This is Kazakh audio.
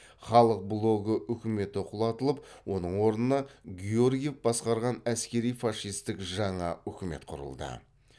халық блогы үкіметі құлатылып оның орнына георгиев басқарған әскери фашистік жаңа үкімет құрылды